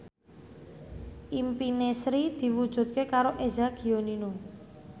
impine Sri diwujudke karo Eza Gionino